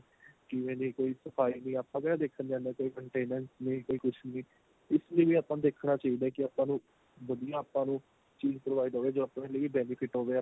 ਕਿਵੇਂ ਦੀ ਕੋਈ ਸਫਾਈ ਵੀ ਆਪਾਂ ਕਿਹੜਾ ਦੇਖਣ ਜਾਂਦੇ ਆ ਕੋਈ maintenance ਨੀਂ ਕੋਈ ਕੁੱਝ ਨੀ ਇਸ ਲਈ ਆਪਾਂ ਨੂੰ ਦੇਖਣਾ ਚਾਹੀਦਾ ਕੀ ਆਪਾਂ ਨੂੰ ਵਧੀਆ ਆਪਾਂ ਨੂੰ ਚੀਜ provide ਹੋਵੇ ਜੋ ਆਪਣੇ ਲਈ benefit ਹੋਵੇ